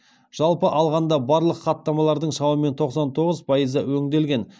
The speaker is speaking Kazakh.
жалпы алғанда барлық хаттамалардың шамамен тоқсан тоғыз пайызы өңделген